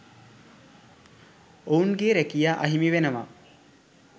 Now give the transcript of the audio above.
ඔවුන්ගේ රැකියා අහිමිවෙනවා